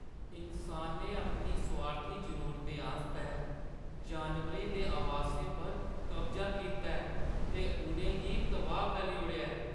इन्सानें अपनी सोआर्थी जरूरतें आस्तै जानवरें दे आवासें पर कब्जा कीता ऐ ते उʼनें गी तबाह् करी ओड़ेआ ऐ।